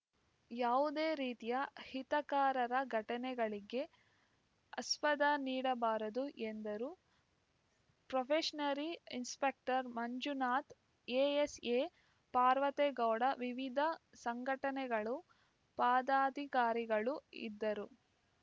ಯಾವುದೇ ರೀತಿಯ ಹಿತಕಾರರ ಘಟನೆಗಳಿಗೆ ಆಸ್ಪದ ನೀಡಬಾರದು ಎಂದರು probationary inspector Manjunath ASA Parvategowda ವಿವಿಧ ಸಂಘಟನೆಗಳು ಪದಾಧಿಕಾರಿಗಳು ಇದ್ದರು